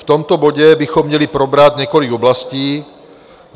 V tomto bodě bychom měli probrat několik oblastí.